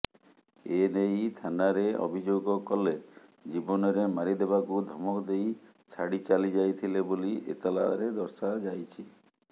ଏନେଇ ଥାନାରେ ଅଭିଯୋଗ କଲେ ଜୀବନରେ ମାରିଦେବାକୁ ଧମକ ଦେଇ ଛାଡ଼ି ଚାଲିଯାଇଥିଲେ ବୋଲି ଏତଲାରେ ଦର୍ଶାଯାଇଛି